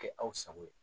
Kɛ aw sago ye